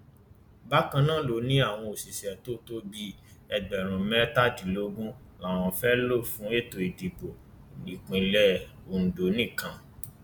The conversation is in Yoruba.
bákan náà ló ní àwọn òṣìṣẹ tó tó bíi ẹgbẹrún mẹtàdínlógún làwọn fẹẹ lò fún ètò ìdìbò ìpínlẹ ondo nìkan